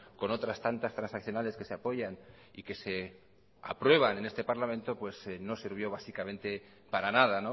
con otras tantas transaccionales que se apoyan y que se aprueban en este parlamento pues no sirvió básicamente para nada